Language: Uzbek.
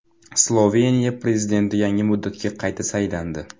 Sloveniya prezidenti yangi muddatga qayta saylandi.